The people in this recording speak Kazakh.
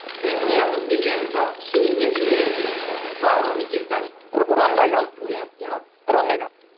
мен ояндым деген зат сөзді сөз тіркесін барлық митингтен ұранға айналды ұранға айналды